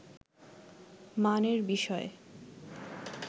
মানের বিষয়ে